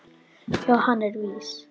Já, hann er vís.